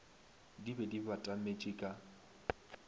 di be di batametše ka